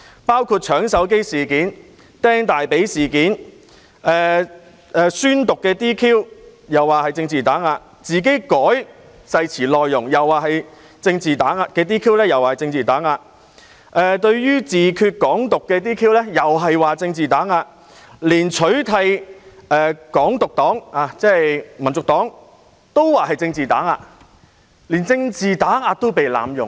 包括"搶手機"事件；"釘大腿"事件；宣誓被 "DQ" 亦說是被政治打壓；自行修改誓詞內容被 "DQ" 又說是政治打壓；對於"自決"、"港獨"的 "DQ" 又說是政治打壓，連取締"港獨黨"——即香港民族黨——都說是政治打壓，連政治打壓亦被濫用。